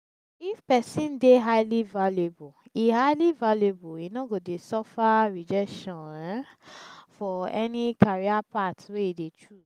if person de highly valuable e highly valuable e no go de suffer rejection um for any career path wey e choose